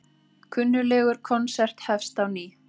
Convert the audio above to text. Kunnuglegur konsert hefst á ný